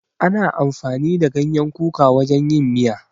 Ana amfani da ganyen kuka wajen yin miya.